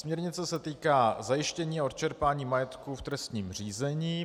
Směrnice se týká zajištění a odčerpání majetku v trestním řízení.